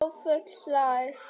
Hrólfur hlær.